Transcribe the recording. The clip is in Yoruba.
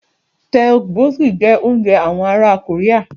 Tteokbokki jẹ́ oúnjẹ àwon ará Korea